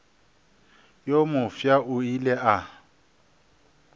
yo mofsa o ile a